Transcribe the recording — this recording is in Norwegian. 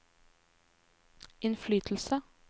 innflytelse